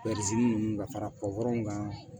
ninnu ka fara kan